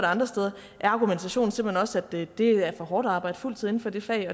andre steder er argumentationen simpelt hen også at det er for hårdt at arbejde fuldtid inden for det fag